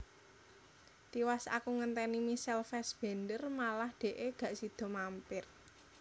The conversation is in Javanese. Tiwas aku ngenteni Michael Fassbender malah dekke gak sido mampir